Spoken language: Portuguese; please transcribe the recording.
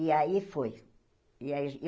E aí foi. E aí a